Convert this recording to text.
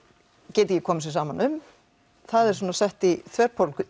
geta ekki komið sér saman um það er sett í þverpólitísku